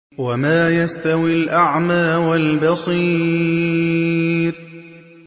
وَمَا يَسْتَوِي الْأَعْمَىٰ وَالْبَصِيرُ